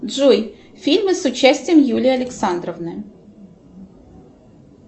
джой фильмы с участием юлии александровны